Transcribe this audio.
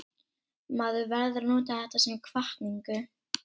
Maður verður að nota þetta sem hvatningu.